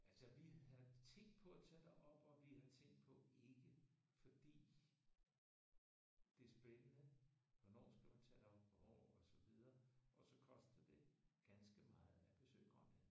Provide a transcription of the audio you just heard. Altså vi havde tænkt på at tage derop og vi har tænkt på ikke. Fordi det er spændende hvornår skal man tage derop hvornår og så videre og så koster det ganske meget at besøge Grønland